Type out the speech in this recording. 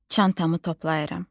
Çantamı toplayıram.